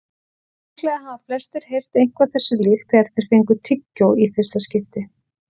Líklega hafa flestir heyrt eitthvað þessu líkt þegar þeir fengu tyggjó í fyrsta skipti.